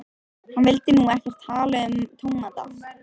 Hann vildi nú ekkert tala um tómata.